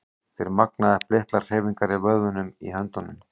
Þeir magna upp litlar hreyfingar í vöðvunum í höndunum.